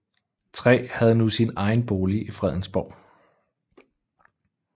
III havde nu sin egen bolig i Fredensborg